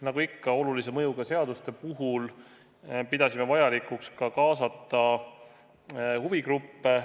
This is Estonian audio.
Nagu ikka olulise mõjuga seaduste puhul, pidasime vajalikuks kaasata huvigruppe.